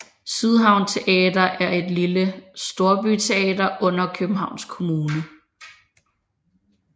Sydhavn Teater er et lille storbyteater under Københavns Kommune